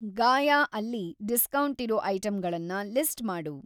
Gaia ಅಲ್ಲಿ ಡಿಸ್ಕೌಂಟಿರೋ ಐಟಮ್‌ಗಳನ್ನ ಲಿಸ್ಟ್‌ ಮಾಡು.